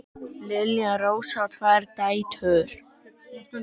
Lilja Rósa á tvær dætur.